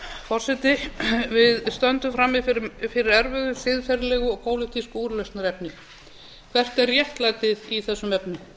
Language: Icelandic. forseti við stöndum frammi fyrir erfiðu siðferðilegu og pólitísku úrlausnarefni hvert er réttlætið í þessum efnum